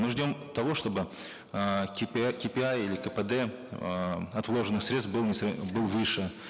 мы ждем того чтобы эээ ки пи ай или кпд э от вложенных средств был был выше